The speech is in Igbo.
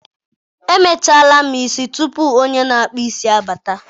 Emechaala m isi tupu onye na-akpụ isi abata.